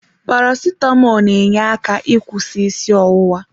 Paracetamọl n'enye aka ịkwụsị isi ọwụwa.